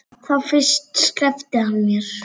Þá fyrst sleppti hann mér.